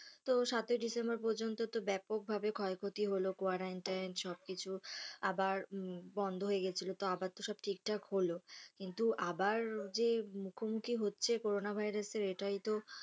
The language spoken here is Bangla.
তো সাতই ডিসেম্বর পর্যন্ত তো ব্যাপকভাবে ক্ষয়ক্ষতি হলো quarantine সবকিছু আবার বন্ধ হয়ে গিয়েছিলো তো আবার তো সব ঠিকঠাক হলো, কিন্তু আবার যে মুখোমুখি হচ্ছে করোনা ভাইরাস এর এটাই তো